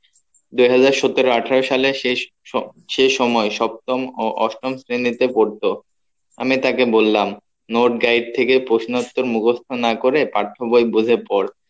দু হাজার সতেরো আঠেরো সালের শেষ সে সময় সপ্তম অষ্টম শ্রেণীতে পড়তো আমি তাকে বললাম note guide থেকে প্রশ্ন উত্তর মুখস্ত না করে পাঠ্য বই বসে পর